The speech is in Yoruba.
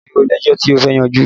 Ṣé o lẹ́jọ́ tí ó fẹ́ yanjú ni?